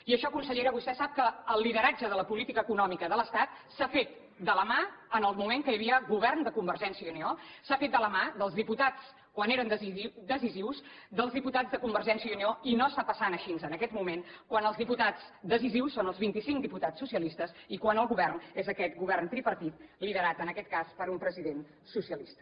i això consellera vostè sap que el lideratge de la política econòmica de l’estat s’ha fet de la mà en el moment que hi havia govern de convergència i unió s’ha fet de la mà dels diputats quan eren decisius dels diputats de convergència i unió i no està passant així en aquest moment quan els diputats decisius són els vint i cinc diputats socialistes i quan el govern és aquest govern tripartit liderat en aquest cas per un president socialista